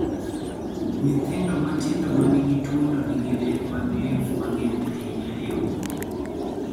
Nyithindo matindo ma nigi tuono nigi ler mag lymph ma ng�eny ahinya e obo.